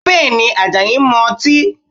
Bẹ́ẹ̀ni, Àjàyí ń mu ọtí?